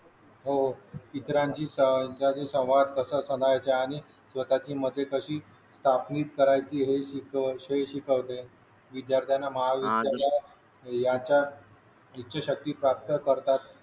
हो इतरांचा सहभाग तसंच समस्या आणि स्वतःचे मते कशी चाचपणीच करायची हे शिकवते विद्यार्थ्यांना महाविद्यालयात याचा इच्छाशक्ती प्राप्त करतात